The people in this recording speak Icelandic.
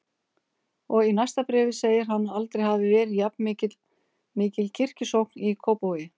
Og í næsta bréfi segir hann að aldrei hafi verið jafnmikil kirkjusókn í Kópavogi.